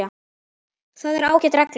Það er ágæt regla.